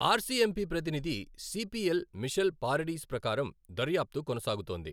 Are C M P ప్రతినిధి C P L, Michelle Paradis ప్రకారం, దర్యాప్తు కొనసాగుతోంది.